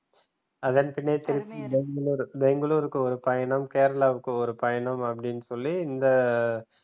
அதன் பின்ன திரும்பி பெங்களூர் பெங்களூருக்கு ஒரு பயணம் கேரளாவுக்கு ஒரு பயணம் அப்படின்னு சொல்லி இந்த